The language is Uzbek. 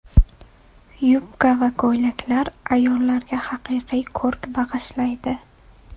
Yubka va ko‘ylaklar ayollarga haqiqiy ko‘rk bag‘ishlaydi.